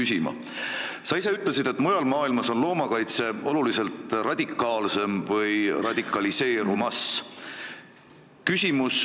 Sa ise ütlesid, et mujal maailmas on loomakaitse oluliselt radikaalsem või radikaliseerumas.